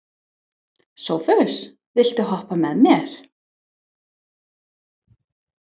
Sophus, viltu hoppa með mér?